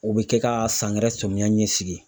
U bɛ kɛ ka sangɛrɛ samiya ɲɛsigi.